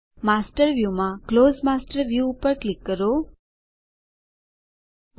master view માં close master view પર click કરો બંધ માસ્ટર જુઓ